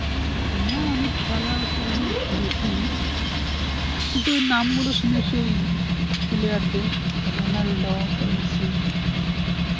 না আমি খেলা সেরকম দেখিনি, কিন্তু ওই নামগুলো শুনেছি ওই player দের রোনাল্ডো তারপর মেসি